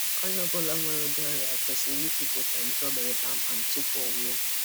Onye ọbụla nwere ụdị ọrịa kwesiri ikwupụta njọọ o mere kpamkpam tupu ọ nwụọ.